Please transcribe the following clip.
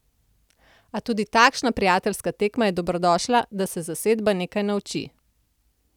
A tudi takšna prijateljska tekma je dobrodošla, da se zasedba nekaj nauči.